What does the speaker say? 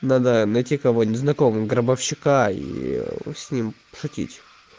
надо найти кого-нибудь знакомого гробовщика и с ним пошутить